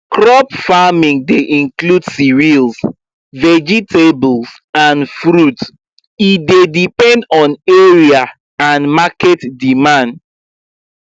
crop farming dey include cereals vegetables and fruits e dey depend on area and market demand